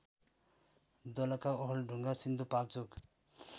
Dolakha Okhaldhunga Sindhupalchok